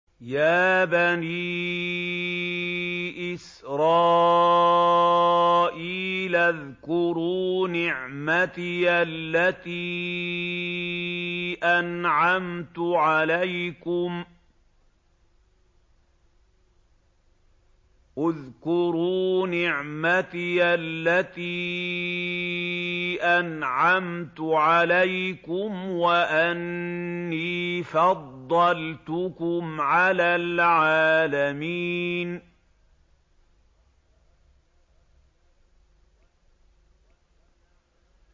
يَا بَنِي إِسْرَائِيلَ اذْكُرُوا نِعْمَتِيَ الَّتِي أَنْعَمْتُ عَلَيْكُمْ وَأَنِّي فَضَّلْتُكُمْ عَلَى الْعَالَمِينَ